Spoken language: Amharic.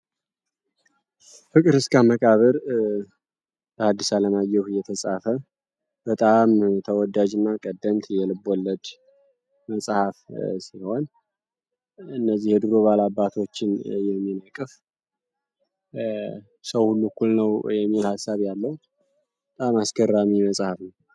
ፍቅር እስከ መቃብር በአዲስ አለማየሁ የተጻፈ በጣም ተወዳጅ እና ቀደምት የልብለድ መጽሐፍ ሲሆን እነዚህ ድሮ ባላባቶችን የሚነቅፍ ሰው ሁሉ እኩል ነው። የሚል ሀሳብ ያለው ጣም አስከራሚ መጽሐፍ ነው።